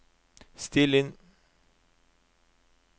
still inn